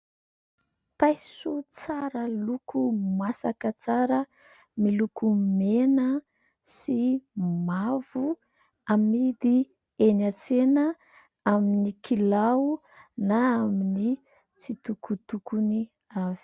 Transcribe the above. Paiso tsara loko masaka tsara miloko mena sy mavo amidy eny an-tsena aminy kilao na aminy tsitokotokony avy.